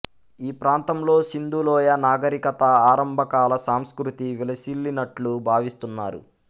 ఈ ప్రాంతంలో సింధూలోయ నాగరికత ఆరంభకాల సంస్కృతి విలసిల్లినట్లు భావిస్తున్నారు